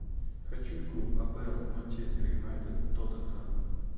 хочу игру апл манчестер юнайтед тоттенхэм